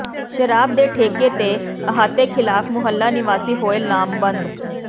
ਸ਼ਰਾਬ ਦੇ ਠੇਕੇ ਤੇ ਅਹਾਤੇ ਖਿਲਾਫ ਮੁਹੱਲਾ ਨਿਵਾਸੀ ਹੋਏ ਲਾਮਬੰਦ